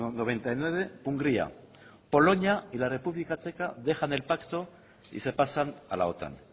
noventa y nueve hungría polonia y la república checa dejan el pacto y se pasan a la otan